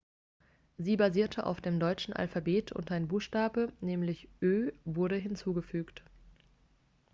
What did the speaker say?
sie basierte auf dem deutschen alphabet und ein buchstabe nämlich õ/õ wurde hinzugefügt